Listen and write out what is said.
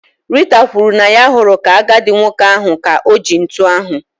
Rita kwuru na ya hụrụ ka-agadi nwoke ahụ ka oji ntụ ahụ.